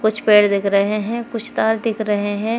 कुछ पेड़ दिख रहे हैं कुछ तार दिख रहे हैं।